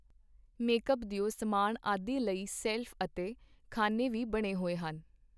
Make-up ਦਿਓ ਸਾਮਾਨ ਆਦਿ ਲਈ ਸ਼ੈਲਫ ਅਤੇ ਖਾਨੇ ਵੀ ਬਣੇ ਹੋਏ ਹਨ.